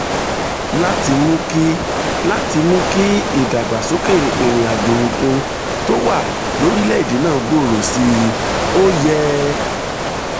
láti mú kí láti mú kí ìdàgbàsókè ìrìn àjò òkun tó wà lórílẹ̀-èdè náà gbòòrò sí i ó yẹ